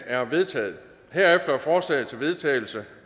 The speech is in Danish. er vedtaget herefter er forslag til vedtagelse